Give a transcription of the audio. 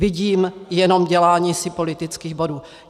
Vidím jenom dělání si politických bodů.